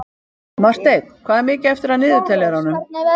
Marteinn, hvað er mikið eftir af niðurteljaranum?